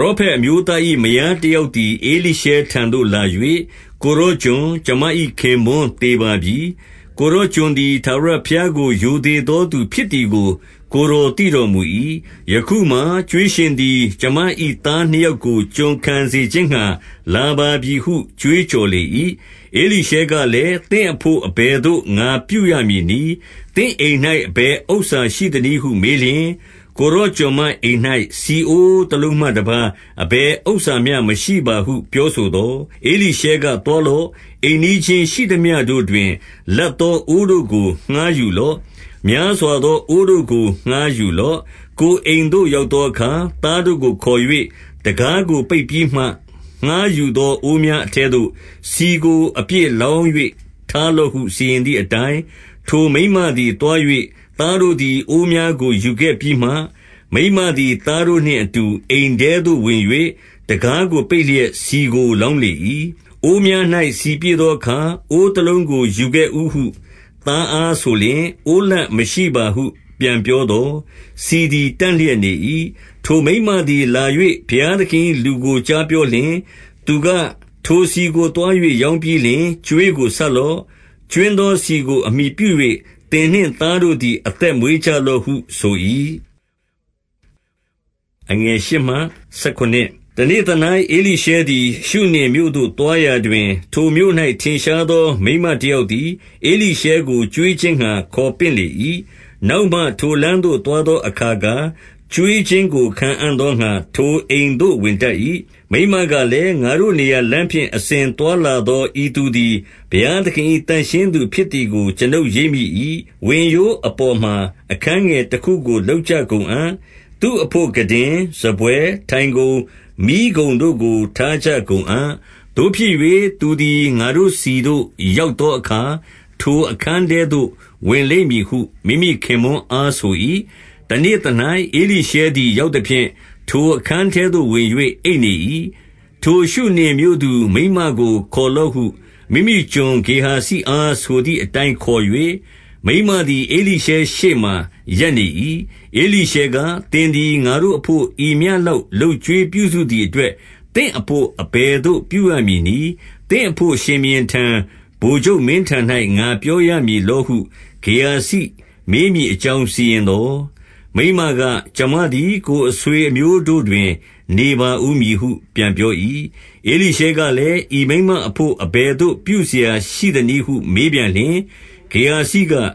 ရောဖက်အမျိုးသား၏ မယားတယောက် သည် ဧလိရှဲထံသို့လာ၍၊ ကိုယ်တော်ကျွန်၊ ကျွန်မ၏ ခင်ပွန်းသေပါပြီ၊ ကိုယ်တော်ကျွန်သည် ထာဝရဘုရားကို ရိုသေသောသူဖြစ်သည်ကို ကိုယ်တော်သိတော်မူ၏။ ယခုမှာ ကြွေးရှင်သည် ကျွန်မ၏သားနှစ်ယောက်ကို ကျွန်ခံစေခြင်းငှါ လာပါပြီဟု ကြွေးကြော်လေ၏။ 2 ဧလိရှဲကလည်း၊ သင့်အဘို့အဘယ်သို့ ငါပြုရ မည်နည်း။ သင့်အိမ်၌ အဘယ်ဥစ္စာရှိသနည်းဟု မေးလျှင်၊ ကိုယ်တော်ကျွန်မအိမ်၌ ဆီအိုးတလုံးမှတပါး အဘယ်ဥစ္စာမျှ မရှိပါဟု ပြောဆိုသော်၊ 3 ဧလိရှဲက သွားလော့။ အိမ်နီးချင်းရှိသမျှတို့တွင် လပ်သောအိုးတို့ကို ငှါးယူလော့။ များစွာသော အိုးတို့ကို ငှားယူလော့။ 4 ကိုယ်အိမ်သို့ ရောက်သောအခါ၊ သားတို့ကို ခေါ်၍ တံခါးကို ပိတ်ပြီးမှ ငှါးယူသော အိုးများအထဲသို့ ဆီကို အပြည့်လောင်း၍ ထားလော့ ဟုစီရင်သည်အတိုင်း၊ 5 ထိုမိန်းမသည် သွား၍သားတို့သည် အိုးများကို ယူခဲ့ပြီးမှ၊ မိန်းမသည် သားတို့နှင့်အတူ အိမ်ထဲသို့ဝင်၍ တံခါးကိုပိတ်လျက် ဆီကို လောင်းလေ၏။ 6 အိုးများ၌ ဆီပြည့်သောအခါ၊ အိုးတလုံးကို ယူခဲ့ဦးဟုသားအားဆိုလျှင်၊ အိုးလပ်မရှိပါဟု ပြန်ပြောသော်၊ ဆီသည် တန့်လျက် နေ၏။ 7 ထိုမိန်းမသည်လာ၍ ဘုရားသခင်၏ လူကို ကြားပြောလျှင်၊ သူက ထိုဆီကိုသွား၍ ရောင်းပြီးလျှင် ကြွေးကို ဆပ်လော့။ ကြွင်းသောဆီကို အမှီပြု၍ သင်နှင့် သားတို့သည် အသက်မွေးကြလော့ဟု ဆို၏။ 8 တနေ့သ၌ ဧလိရှဲသည်ရှုနင်မြို့သို့ သွားရာတွင်၊ ထိုမြို့၌ ထင်ရှားသောမိန်းမတယောက်သည် ဧလိရှဲကို ကျွေးခြင်းငှါ ခေါ်ပင့်လေ၏။ နောက်မှထိုလမ်းသို့ သွား သောအခါ၊ ကျွေးခြင်းကို ခံအံ့သောငှါ ထိုအိမ်သို့ ဝင်တတ်၏။ 9 မိန်းမကလည်း၊ ငါတို့နေရာလမ်းဖြင့် အစဉ် သွားလာသော ဤသူသည် ဘုရားသခင်၏ သန့်ရှင်းသူ ဖြစ်သည်ကို ကျွန်ုပ်ရိပ်မိ၏။ 10 ဝင်ရိုးအပေါ်မှာ အခန်းငယ်တခုကို လုပ်ကြ ကုန်အံ့။ သူ့အဘို့ ခုတင်၊ စားပွဲ၊ ထိုင်ခုံ၊ မီးခုံတို့ကို ထားကြ ကုန်အံ့။ သို့ဖြစ်၍၊ သူသည် ငါတို့ ဆီသို့ရောက်သောအခါ၊ ထိုအခန်းထဲသို့ ဝင်လိမ့်မည်ဟု မိမိခင်ပွန်းအား ဆို၏။ 11 တနေ့သ၌ ဧလိရှဲသည် ရောက်သဖြင့်၊ ထိုအခန်း ထဲသို့ဝင်၍ အိပ်နေ၏။ 12 ထိုရှုနင်မြို့သူမိန်းမကို ခေါ်လော့ဟု မိမိကျွန် ဂေဟာဇိအားဆိုသည်အတိုင်းခေါ်၍၊ မိန်းမသည် ဧလိရှဲ ရှေ့မှာ ရပ်နေ၏။ 13 ဧလိရှဲက၊ သင်သည်ငါတို့အဘို့ ဤမျှလောက် လုပ်ကြွေးပြုစုသည်အတွက်၊ သင့်အဘို့အဘယ်သို့ ပြုရ မည်နည်း။ သင့်အဘို့ ရှင်ဘုရင်ထံ၊ ဗိုလ်ချုပ်မင်းထံ၌ ငါပြောရမည်လောဟု ဂေဟာဇိမေးမည်အကြောင်း စီရင် သော်၊ မိန်းမက၊ ကျွန်မသည် ကိုယ်အဆွေအမျိုးတို့တွင် နေပါဦးမည်ဟု ပြန်ပြော၏။ 14 ဧလိရှဲကလည်း၊ ဤမိန်းမအဘို့ အဘယ်သို့ ပြုစရာရှိသနည်းဟု မေးပြန်လျှင်၊ ဂေဟာဇိက၊